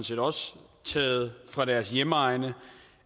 set også taget fra deres hjemegne